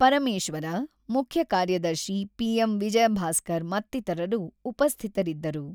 ಪರಮೇಶ್ವರ, ಮುಖ್ಯ ಕಾರ್ಯದರ್ಶಿ ಪಿ.ಎಂ.ವಿಜಯ ಭಾಸ್ಕರ್ ಮತ್ತಿತರರು ಉಪಸ್ಥಿತರಿದ್ದರು.